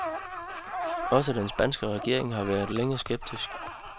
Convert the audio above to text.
Også den spanske regering har længe været skeptisk.